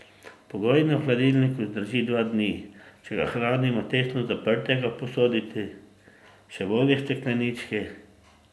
Pogojno v hladilniku zdrži dva dni, če ga hranimo tesno zaprtega v posodici, še bolje steklenički.